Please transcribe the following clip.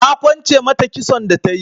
Na kwance mata kitson da tayi.